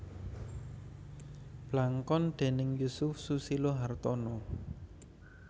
Blangkon déning Yusuf Susilo Hartono